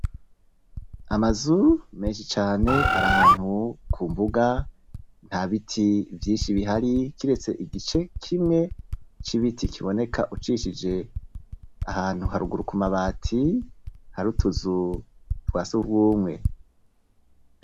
Amazu menshi cane ari ahantu ku mbuga, nta biti vyinshi bihari kiretse igice kimwe c'ibiti kiboneka ucishije ahantu haruguru ku mabati hari utuzu twa sugumwe.